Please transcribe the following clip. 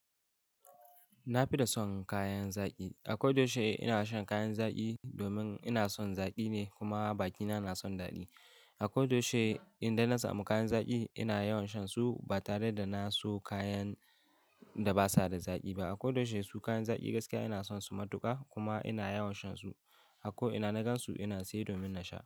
Na fi da son kayan zaƙi. A ko da yaushe ina shan kayan zaƙi domin ina son zaƙi ne kuma bakina na son daɗi. A ko da yaushe idan na samu kayan zaƙi ina yawan shan su ba tare da na so kayan da ba su da zaƙi ba. A ko da yaushe su kayan zaƙi gaskiya ina son su matuƙa kuma ina yawan shan su. A ko ina na gan su ina saye domin na sha.